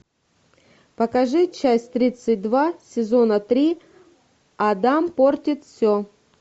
покажи часть тридцать два сезона три адам портит все